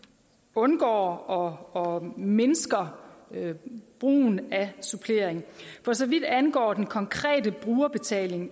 undgår og mindsker brugen af supplering for så vidt angår den konkrete brugerbetaling